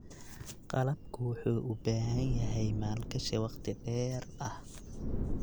Qalabku wuxuu u baahan yahay maalgashi waqti dheer ah.